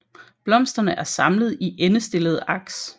Blomsterne er samlet i endestillede aks